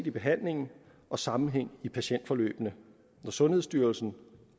i behandlingen og sammenhæng i patientforløbene når sundhedsstyrelsen